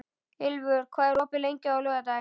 Ylfur, hvað er opið lengi á laugardaginn?